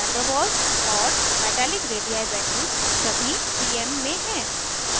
van der waals और metallic radii values सभी pm में हैं